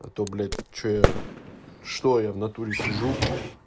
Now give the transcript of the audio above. а то блять что я что я в натуре сижу